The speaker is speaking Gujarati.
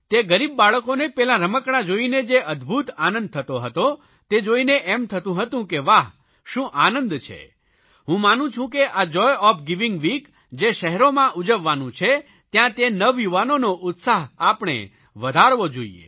તે ગરીબ બાળકોને પેલા રમકડા જોઇને જે અદભૂત આનંદ થતો હતો તે જોઇને એમ થતું તું કે વાહ શું આનંદ છે હું માનું છું કે આ જોય ઓએફ ગિવિંગ વીક જે શહેરોમાં ઉજવાવાનું છે ત્યાં નવયુવાનોનો ઉત્સાહ આપણે વધારવો જોઇએ